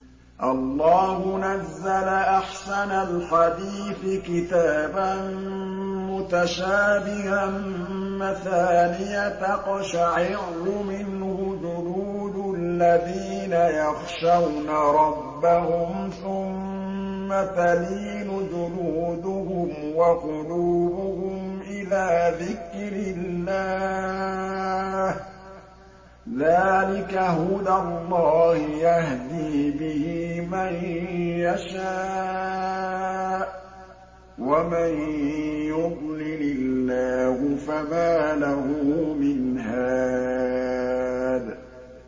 اللَّهُ نَزَّلَ أَحْسَنَ الْحَدِيثِ كِتَابًا مُّتَشَابِهًا مَّثَانِيَ تَقْشَعِرُّ مِنْهُ جُلُودُ الَّذِينَ يَخْشَوْنَ رَبَّهُمْ ثُمَّ تَلِينُ جُلُودُهُمْ وَقُلُوبُهُمْ إِلَىٰ ذِكْرِ اللَّهِ ۚ ذَٰلِكَ هُدَى اللَّهِ يَهْدِي بِهِ مَن يَشَاءُ ۚ وَمَن يُضْلِلِ اللَّهُ فَمَا لَهُ مِنْ هَادٍ